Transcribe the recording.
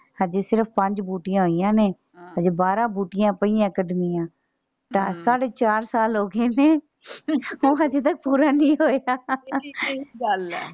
ਹਜੇ ਸਿਰਫ ਪੰਜ ਬੂਟਿਆਂ ਹੋਈਆਂ ਨੇ ਹਜੇ ਬਾਰਾਂ ਬੂਟੀਆਂ ਪਈਆਂ ਕੱਢਣੀਆਂ ਤਾਂ ਹਮ ਸਾਢੇ ਚਾਰ ਸਾਲ ਹੋਗਏ ਨੇ ਚਾਰ ਸਾਲ ਹੋਗਏ ਨੇ ਉਹ ਹਜੇ ਤੱਕ ਪੂਰਾ ਨਹੀਂ ਹੋਇਆ।